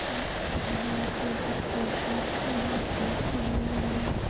अ यह एक पोल दिख रही है वहा भी अलग अलग --